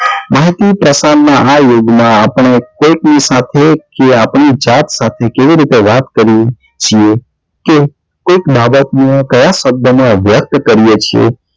માહિતી પ્રસાર નાં આ યુગ માં આપને કઈક કે આપની જાત સાથે કેવી ર્રીતે વાત કરીએ છીએ કે કાઈક બાબત માં કયા શબ્દ નો અભ્યાસ કરીએ છીએ